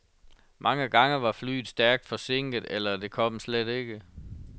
Mange gange var flyet stærkt forsinket, eller det kom slet ikke.